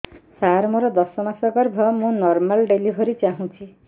ସାର ମୋର ଦଶ ମାସ ଗର୍ଭ ମୁ ନର୍ମାଲ ଡେଲିଭରୀ ଚାହୁଁଛି